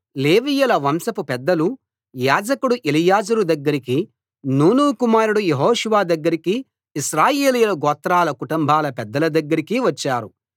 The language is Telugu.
లేవీయుల వంశపు పెద్దలు యాజకుడు ఎలియాజరు దగ్గరికీ నూను కుమారుడు యెహోషువ దగ్గరికీ ఇశ్రాయేలీయుల గోత్రాల కుటుంబాల పెద్దల దగ్గరికీ వచ్చారు